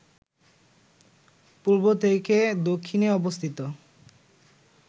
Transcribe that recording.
পূর্ব থেকে দক্ষিণে অবস্থিত